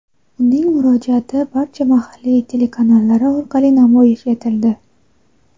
Uning murojaati barcha mahalliy telekanallari orqali namoyish etildi.